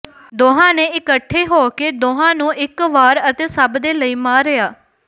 ਦੋਹਾਂ ਨੇ ਇਕੱਠੇ ਹੋ ਕੇ ਦੋਹਾਂ ਨੂੰ ਇਕ ਵਾਰ ਅਤੇ ਸਭ ਦੇ ਲਈ ਮਾਰਿਆ